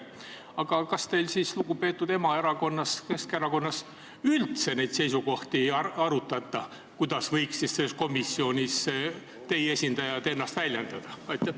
Aga kas siis lugupeetud emaerakonnas, Keskerakonnas, üldse neid seisukohti ei arutata, kuidas võiksid teie esindajad selles komisjonis ennast väljendada?